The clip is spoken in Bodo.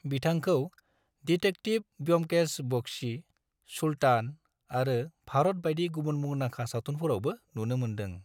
बिथांखौ डिटेक्टिव ब्य'मकेश बख्शी, सुल्तान आरो भारत बायदि गुबुन मुंदांखा सावथुनफोरावबो नुनो मोनदों।